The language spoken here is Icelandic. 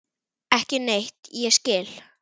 Ekki neitt ég skil.